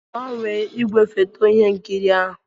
Gbanwee ígwèfoto ihe nkiri ahụ?